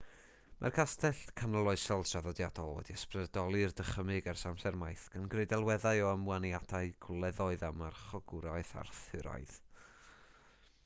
mae'r castell canoloesol traddodiadol wedi ysbrydoli'r dychymyg ers amser maith gan greu delweddau o ymwaniadau gwleddoedd a marchogwraeth arthuraidd